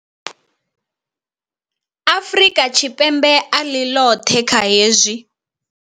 Afrika Tshipembe a ḽi ḽoṱhe kha hezwi.